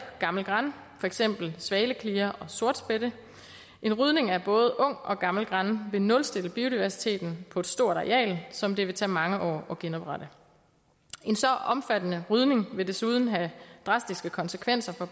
gammel gran for eksempel svaleklire og sortspætte en rydning af både ung og gammel gran vil nulstille biodiversiteten på et stort areal som det vil tage mange år at genoprette en så omfattende rydning vil desuden have drastiske konsekvenser for